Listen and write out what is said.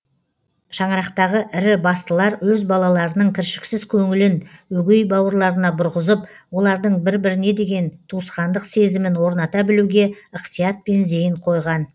шаңырақтағы ірі бастылар өз балаларының кіршіксіз көңілін өгей бауырларына бұрғызып олардың бір біріне деген туысқандық сезімін орната білуге ықтиятпен зейін қойған